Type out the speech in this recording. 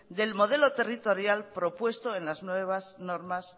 del modelo territorial propuesto en las nuevas normas